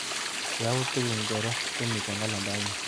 Yautik ingoro chemiite kalendainyu?